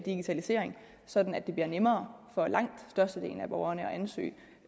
digitalisering sådan at det bliver nemmere for langt størstedelen af borgerne